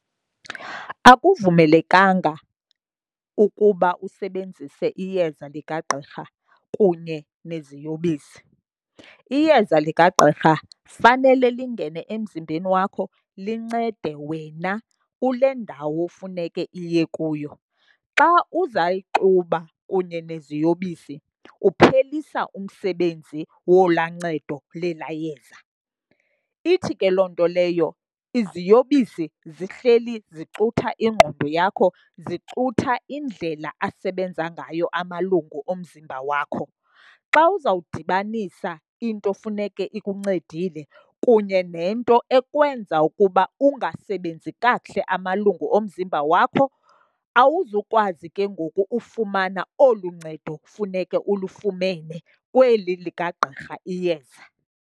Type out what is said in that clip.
Akuvumelekanga ukuba usebenzise iyeza likagqirha kunye neziyobisi. Iyeza likagqirha fanele lingene emzimbeni wakho lincede wena kule ndawo funeke liye kuyo. Xa uzayixuba kunye neziyobisi, kuphelisa umsebenzi wolaa ncedo lelaa yeza. Ithi ke loo nto leyo iziyobisi zihleli zicutha ingqondo yakho, zicutha indlela asebenza ngayo amalungu omzimba wakho, xa uzawudibanisa into funeke ikuncedile kunye nento ekwenza ukuba ungasebenzi kakuhle amalungu omzimba wakho awuzukwazi ke ngoku ufumana olu ncedo kufuneke ulufumene kweli likagqirha iyeza.